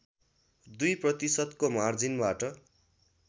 २ प्रतिशतको मार्जिनबाट